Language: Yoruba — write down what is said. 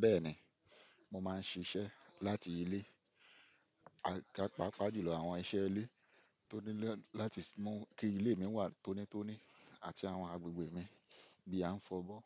Bẹ́ẹ̀ni, mo máa ń ṣiṣẹ́ láti ilé, pàpá jùlọ àwọn iṣẹ́ ilé tó nílò láti mú kí ilé mi wà tónítóní àti àwọn agbègbè mi bí a ń fọ́bọ́,